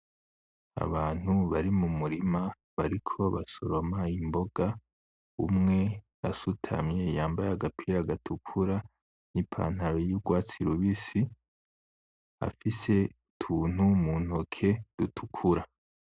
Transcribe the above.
Abantu bari mumurima bariko basoroma imboga, umwe asutamye yambaye agapira gatukura n'ipantaro y'ugwatsi rubisi afise utuntu mu ntoke dutukura.